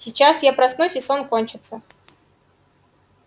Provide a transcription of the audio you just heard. сейчас я проснусь и сон кончится